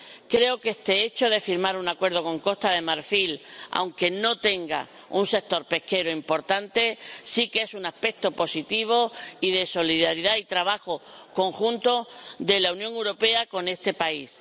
Creo que este hecho de firmar un acuerdo con Costa de Marfil, aunque no tenga un sector pesquero importante, sí que es un aspecto positivo y de solidaridad y trabajo conjunto de la Unión Europea con este país.